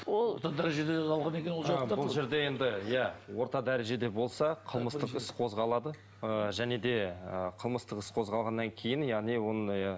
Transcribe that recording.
бұл жерде енді иә орта дәрежеде болса қылмыстық іс қозғалады ы және де ы қылмыстық іс қозғалғаннан кейін яғни оның иә